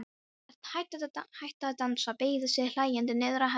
Örn hætti að dansa, beygði sig hlæjandi niður að henni.